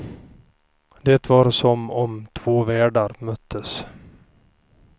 Det var som om två världar möttes.